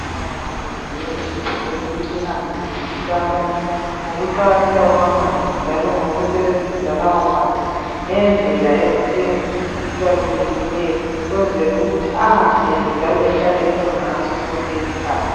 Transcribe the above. Abezempilakahle bazinika ithuba lokuthi behambe befundisa abantu ngokuqakatheka kwamanzi njalo ngokusebenzisa lawo manzi ngendlela ebalulekileyo ukwenzela ukuthi angapheli njalo ahlale ekhona ngaso sonke isikhathi